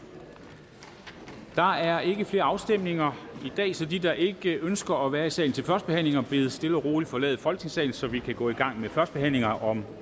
der er ikke flere afstemninger i dag så de der ikke ønsker at være i salen til førstebehandlinger bedes stille og roligt forlade folketingssalen så vi kan gå i gang med førstebehandlinger om